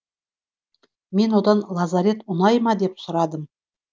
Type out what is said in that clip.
мен одан лазарет ұнай ма деп сұрадым